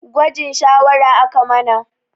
Gwajin shawara aka mana